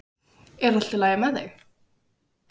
Er allt í lagi með þig?